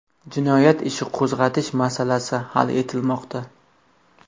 Jinoyat ishi qo‘zg‘atish masalasi hal etilmoqda.